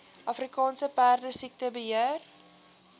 afrika perdesiekte beheer